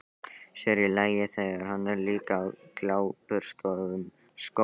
Sér í lagi, þegar hann er líka á gljáburstuðum skóm.